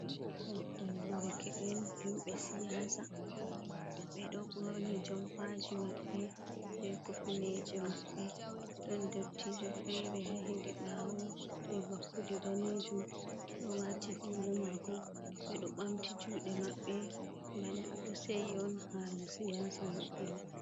Moɓgal dereke'en himɓe siyaasa ɓe ɗo ɓorni jompaaji maɓɓe bee kufineeje maɓɓe, ɗon ndottiijo feere hedi ɓaawo bee vakkude daneejum do waati huula maako ɓe ɗo ɓamti juuɗe maɓɓe bana ɓe ɗo seyi on haala siyaasa maɓɓe mai.